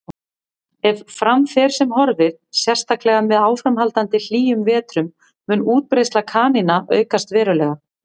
Ef fram fer sem horfir, sérstaklega með áframhaldandi hlýjum vetrum, mun útbreiðsla kanína aukast verulega.